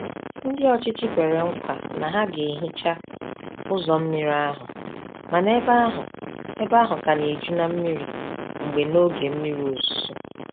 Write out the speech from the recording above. Ndị ọchịchị kwere nkwa na ha ga hicha ụzọ mmiri ahụ, mana ebe ahụ ebe ahụ ka na-eju na mmiri mgbe n'oge mmiri ozuzo.